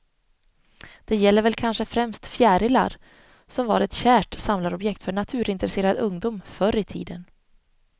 Det gäller väl kanske främst fjärilar, som var ett kärt samlarobjekt för naturintresserad ungdom förr i tiden.